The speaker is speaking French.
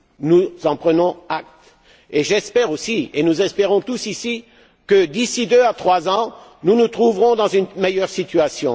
Nous en prenons acte et j'espère aussi, et nous espérons tous ici, que, d'ici deux à trois ans, nous nous trouverons dans une meilleure situation